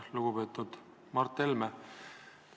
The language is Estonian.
Lugupeetud Mart Helme!